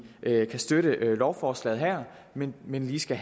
kan støtte lovforslaget her men men vi skal